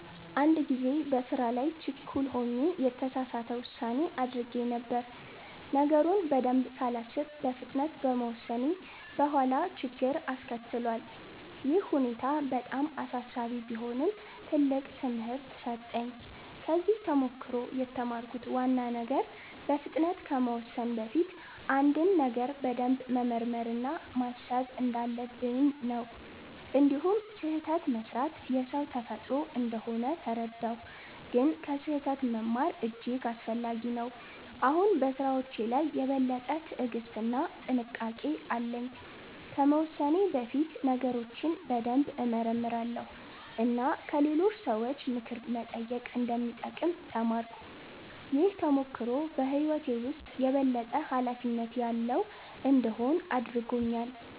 አንድ ጊዜ በስራ ላይ ችኩል ሆኜ የተሳሳት ውሳኔ አድርጌ ነበር። ነገሩን በደንብ ሳላስብ በፍጥነት በመወሰኔ በኋላ ችግር አስከትሏል። ይህ ሁኔታ በጣም አሳሳቢ ቢሆንም ትልቅ ትምህርት ሰጠኝ። ከዚህ ተሞክሮ የተማርኩት ዋና ነገር በፍጥነት ከመወሰን በፊት አንድን ነገር በደንብ መመርመር እና ማሰብ እንዳለብኝ ነው። እንዲሁም ስህተት መስራት የሰው ተፈጥሮ እንደሆነ ተረዳሁ፣ ግን ከስህተት መማር እጅግ አስፈላጊ ነው። አሁን በስራዎቼ ላይ የበለጠ ትዕግስት እና ጥንቃቄ አለኝ። ከመወሰኔ በፊት ነገሮችን በደንብ እመረምራለሁ እና ከሌሎች ሰዎች ምክር መጠየቅ እንደሚጠቅም ተማርኩ። ይህ ተሞክሮ በህይወቴ ውስጥ የበለጠ ኃላፊነት ያለው እንድሆን አድርጎኛል።